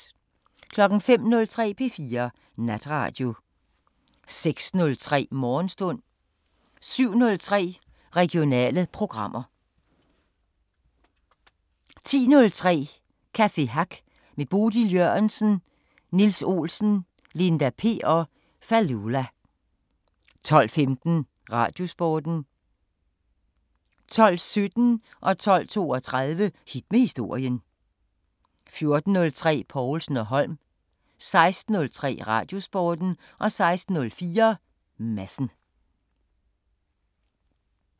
05:03: P4 Natradio 06:03: Morgenstund 07:03: Regionale programmer 10:03: Café Hack med Bodil Jørgensen, Niels Olsen, Linda P og Fallulah 12:15: Radiosporten 12:17: Hit med historien 12:32: Hit med historien 14:03: Povlsen & Holm 16:03: Radiosporten 16:04: Madsen